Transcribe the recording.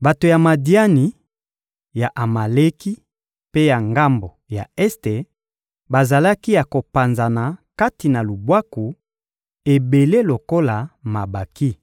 Bato ya Madiani, ya Amaleki mpe ya ngambo ya este bazalaki ya kopanzana kati na lubwaku, ebele lokola mabanki.